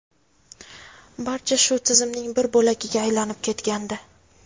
barcha shu tizimning bir bo‘lagiga aylanib ketgandi.